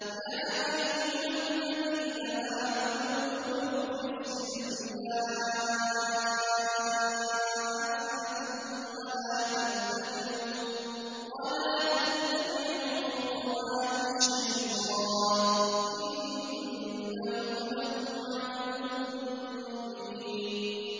يَا أَيُّهَا الَّذِينَ آمَنُوا ادْخُلُوا فِي السِّلْمِ كَافَّةً وَلَا تَتَّبِعُوا خُطُوَاتِ الشَّيْطَانِ ۚ إِنَّهُ لَكُمْ عَدُوٌّ مُّبِينٌ